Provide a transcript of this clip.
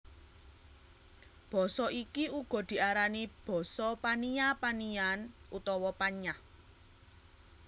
Basa iki uga diarani basa Pania Paniyan utawa Panyah